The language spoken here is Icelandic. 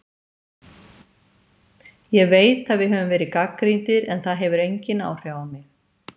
Ég veit að við höfum verið gagnrýndir en það hefur engin áhrif á mig.